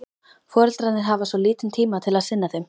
Foreldrarnir hafa svo lítinn tíma til að sinna þeim.